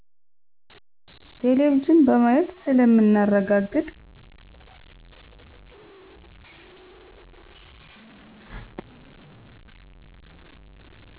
ቴሌቪዝን በማየት ስለምናረጋግጥ